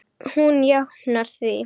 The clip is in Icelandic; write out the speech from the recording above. Hún jánkar því.